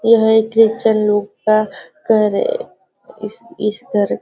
यह एक ख्रिश्चन लोग का घर है इस इस घर --